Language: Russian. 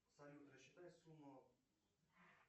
салют рассчитай сумму